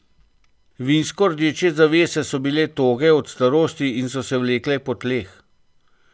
Vinsko rdeče zavese so bile toge od starosti in so se vlekle po tleh.